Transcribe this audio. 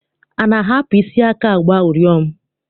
A na-ahapụ isi aka agba ụrịọm?